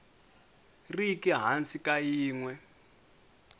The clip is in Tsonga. riki hansi ka yin we